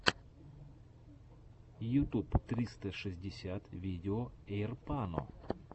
ютуб тристра шестьдесят видео эйрпано